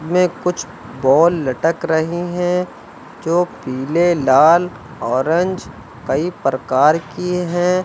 इसमें कुछ बॉल लटक रही हैं जो पीले लाल ऑरेंज कई प्रकार की हैं।